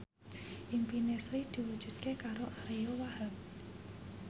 impine Sri diwujudke karo Ariyo Wahab